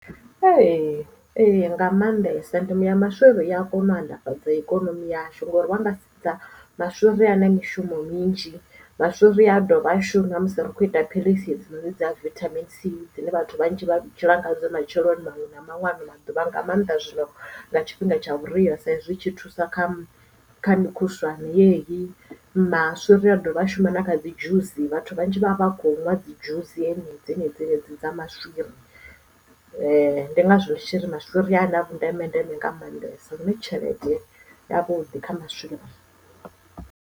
Ee ee nga maanḓesa ndimo ya maswiri i a kona u mannḓafhadza ikonomi yashu ngori wanga sedza maswiri a na mishumo minzhi maswiri a dovha a shuma ri kho ita philisi hedzinoni dza vitamin c dzine vhathu vhanzhi vha dzhiela ngadzo matsheloni maṅwe na maṅwalo na vha nga maanḓa zwino nga tshifhinga tsha vhuria sa zwi tshi thusa kha kha mukhuswane yeyi maswiri a dovha a shuma na kha dzi dzhusi vhathu vhanzhi vha vha kho nwa dzi dzhusi dzenedzi dza maswiri ndi ngazwo maswiri a na vhundeme ndeme nga mannḓesa lune tshelede ya vhuḓi kha maswiri.